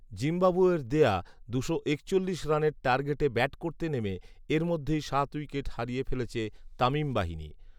জিম্বাবুয়ের দেওয়া দুশো একচল্লিশ রানের টার্গেটে ব্যাট করতে নেমে এরই মধ্যে সাত উইকেট হারিয়ে ফেলেছে তামিম বাহিনী